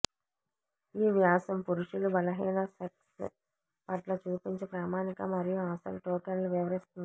ఈ వ్యాసం పురుషులు బలహీన సెక్స్ పట్ల చూపించే ప్రామాణిక మరియు అసలు టోకెన్ల వివరిస్తుంది